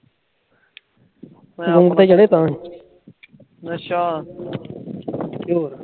ਨਸ਼ਾ